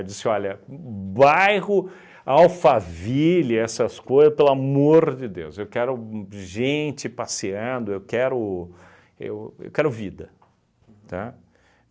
Eu disse, olha, bairro, Alphaville, essas coisas, pelo amor de Deus, eu quero gente passeando, eu quero, eu eu quero vida, tá?